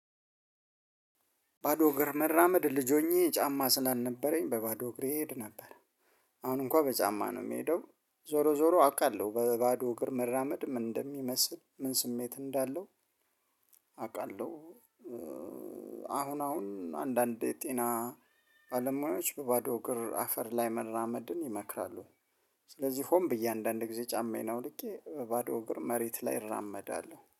ባዶ እግር መራመድ ልጅ ሆኜ ጫማ ስላልነበረኝ በባዶ እግር እሄድ ነበር። አሁን እንኳን በጫማ ነው የምሄደው። ዞሮ ዞሮ አውቃለሁ። በባዶ እግር መራመድ ምን እንደሚመስ፣ ምን ስሜት እንዳለው አውቃለሁ። አሁን አሁን አንዳንዴ ጤና ባለሙያዎች በባዶ እግር አፈር ላይ መራመድን ይመክራሉ። ስለዚህ ሆም ብዬ አንዳንድ ጊዜ ጫማን አውልቄ በባዶ እግር መሬት ላይ እራመዳለሁ።